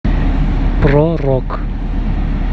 про рок